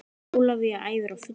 Ólafía æfir á fullu